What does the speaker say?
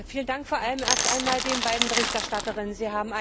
Vielen Dank vor allem erst einmal den beiden Berichterstatterinnen.